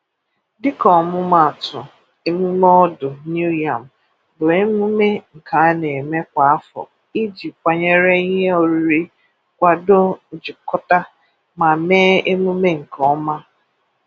Dịka ọmụmaatụ, Émùmè Ọdụ New Yam bụ Émùmè nke a na-eme kwa afọ iji kwànyere ihe oriri, kwàdọ njikọ̀tà, ma mee Émùmè nke ọ́ma.